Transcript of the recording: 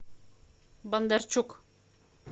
бондарчук